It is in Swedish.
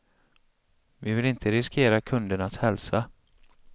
Vi vill inte riskera kundernas hälsa.